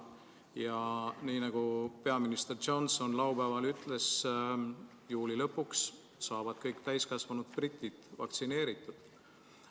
Ja nagu peaminister Johnson laupäeval ütles, juuli lõpuks saavad kõik täiskasvanud britid vaktsineeritud.